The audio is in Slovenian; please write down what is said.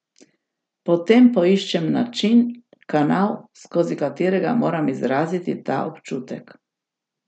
Potem poiščem način, kanal, skozi katerega moram izraziti ta občutek.